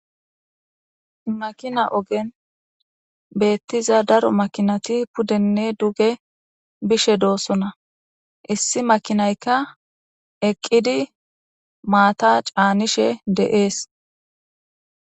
makina ogen beettiza daro makinati pudenne duge bishe doosona issi makinaykka eqqidi maata caanishe de'ees